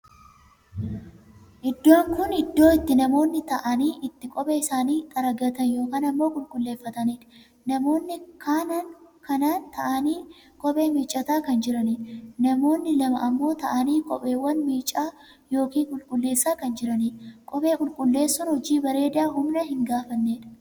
Iddoon kun iddoo itti namoonni taa'anii itti kophee isaanii xaraagatan ykn ammoo qulqulleffataniidha. namoonni kanaan taa'anii kophee miiccataa kan jiraniidha. namoonni lamaa ammoo taa'aanii kopheewwan miicaa ykn qulqulleessaa kan jiraniidha. kophee qulqulleessuun hojii bareedaa humna hin gaafanneedha.